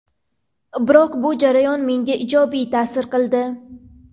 Biroq bu jarayon menga ijobiy ta’sir qildi.